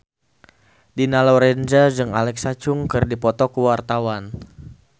Dina Lorenza jeung Alexa Chung keur dipoto ku wartawan